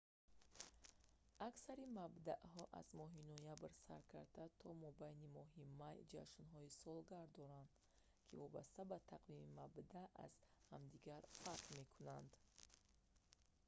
аксари мабдаъҳо аз моҳи ноябр сар карда то мобайни моҳи май ҷашнҳои солгард доранд ки вобаста ба тақвими мабдаъ аз ҳамдигар фарқ мекунанд